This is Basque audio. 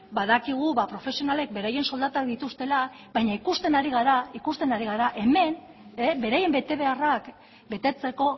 badakigu profesionalek beraien soldatak dituztela baina ikusten ari gara hemen beraien betebeharrak betetzeko